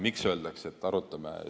Miks öeldakse, et arutame?